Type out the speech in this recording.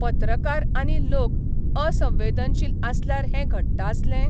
पत्रकार आनी लोक असंवेदनशील आसल्यार हें घडटा आसलें?